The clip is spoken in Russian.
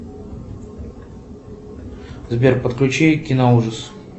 сбер подключи киноужас